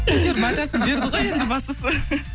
әйтеуір батасын берді ғой енді бастысы